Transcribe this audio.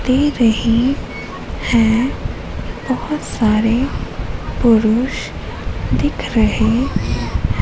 दे रही है। बहोत सारे पुरुष दिख रहे--